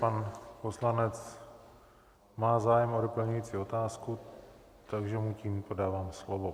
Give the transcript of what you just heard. Pan poslanec má zájem o doplňující otázku, takže mu tímto dávám slovo.